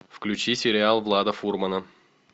включи сериал влада фурмана